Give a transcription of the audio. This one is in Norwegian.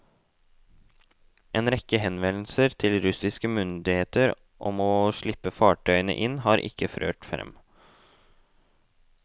En rekke henvendelser til russiske myndigheter om å slippe fartøyene inn, har ikke ført frem.